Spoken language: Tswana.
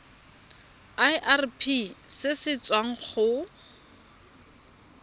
irp se se tswang go